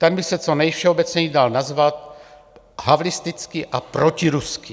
Ten by se co nejvšeobecněji dal nazvat havlistický a protiruský.